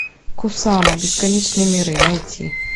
кусама бесконечные миры найти